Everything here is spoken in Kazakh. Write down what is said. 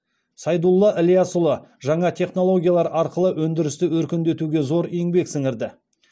сайдулла ілиясұлы жаңа технологиялар арқылы өндірісті өркендетуге зор еңбек сіңірді